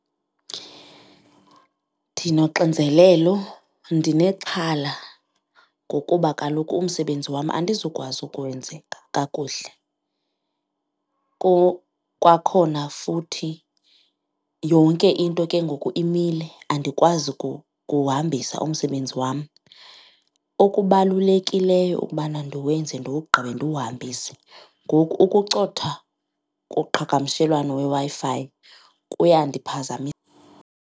Ndinoxinzelelo ndinexhala ngokuba kaloku umsebenzi wam andizukwazi ukwenzeka kakuhle. Kwakhona futhi yonke into ke ngoku imile andikwazi ukuwuhambisa umsebenzi wam. Okubalulekileyo kukubana ndiwenze ndiwugqibe ndiwuhambise, ngoku ukucotha koqhagamshelwano weWi-Fi .